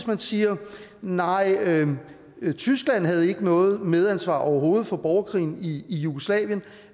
man siger nej tyskland havde ikke noget medansvar overhovedet for borgerkrigen i jugoslavien